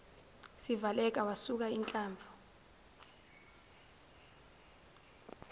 sivaleka wasuka inhlamvu